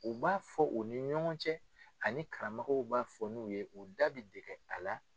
U b'a fɔ u ni ɲɔgɔn cɛ ani karamɔgɔ b'a fɔ n'u ye u da bi dege a la.